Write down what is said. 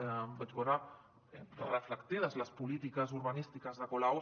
hi vaig veure reflectides les polítiques urbanístiques de colau